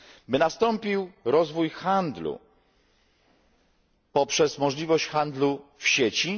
by nastąpił rozwój handlu poprzez możliwość rozwoju handlu w sieci.